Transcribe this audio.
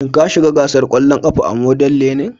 Shin ka shiga gasar ƙwallon ƙafa a Model learning?